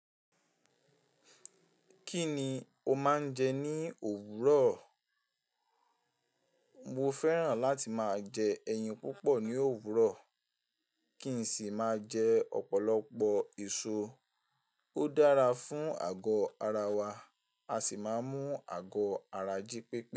Kí ni o máa ń jẹ ní òwúrọ̀? Mo fẹ́ràn láti máa jẹ ẹyin púpọ̀ ní òwúrọ̀, kí n sì máa jẹ ọ̀pọ̀lọpọ̀ èso. Ó dára fún àgọ ara wa, a sì máa mú àgọ ara jí pepé.